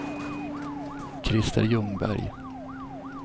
Christer Ljungberg